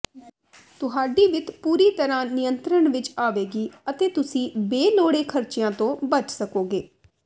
ਤੁਹਾਡੀ ਵਿੱਤ ਪੂਰੀ ਤਰ੍ਹਾਂ ਨਿਯੰਤਰਣ ਵਿੱਚ ਆਵੇਗੀ ਅਤੇ ਤੁਸੀਂ ਬੇਲੋੜੇ ਖਰਚਿਆਂ ਤੋਂ ਬਚ ਸਕੋਗੇ